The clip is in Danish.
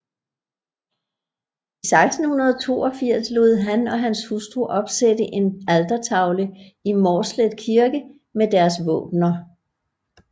I 1682 lod han og hans hustru opsætte en altertavle i Mårslet Kirke med deres våbener